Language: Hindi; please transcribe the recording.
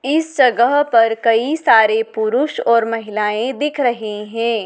इस जगह पर कई सारे पुरुष और महिलाएं दिख रहे है।